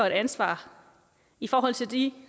et ansvar i forhold til de